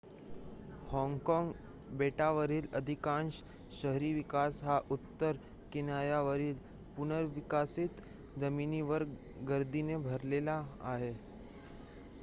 Hong Kong बेटावरील अधिकांश शहरी विकास हा उत्तर किनाऱ्यावरील पुनर्विकसीत जमिनीवर गर्दीने भरलेला आहे